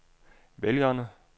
vælgerne